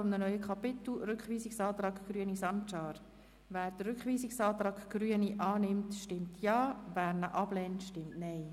Wer den zweiten Rückweisungsantrag der Grünen unterstützt, stimmt Ja, wer diesen ablehnt, stimmt Nein.